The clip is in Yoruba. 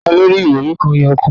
Ta ló rí irori kan yòókù?